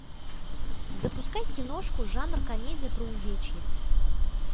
запускай киношку жанр комедия про увечья